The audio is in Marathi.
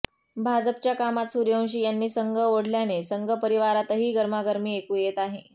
भाजपच्या कामात सूर्यवंशी यांनी संघ ओढल्याने संघ परिवारातही गरमागरमी ऐकू येत आहे